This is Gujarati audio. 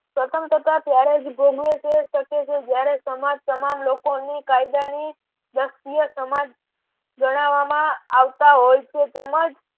સ્વતંત્રતા ત્યારે જ ભોગવે છે શકે છે જયારે સમાજ તમામ લોકો ની કાયદાની દર્ષ્ટિએ સમાજ જણાવવામાં આવતા હોય છે તેમજ